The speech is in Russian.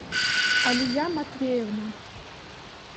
алия матвеевна